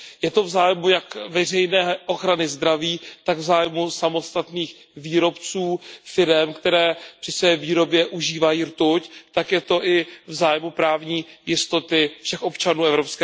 Je to v zájmu jak veřejné ochrany zdraví, tak samotných výrobců, firem, které při své výrobě užívají rtuť, a je to i v zájmu právní jistoty všech občanů EU.